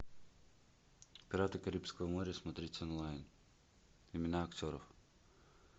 пираты карибского моря смотреть онлайн имена актеров